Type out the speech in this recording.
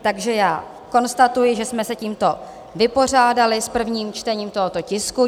Takže já konstatuji, že jsme se tímto vypořádali s prvním čtením tohoto tisku.